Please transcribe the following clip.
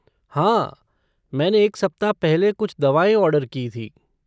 हाँ, मैंने एक सप्ताह पहले कुछ दवाएँ ऑर्डर की थीं।